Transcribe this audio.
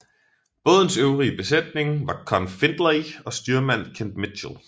Bådens øvrige besætning var Conn Findlay og styrmand Kent Mitchell